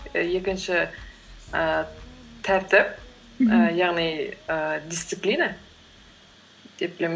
і екінші ііі тәртіп ііі яғни ііі дисциплина деп білемін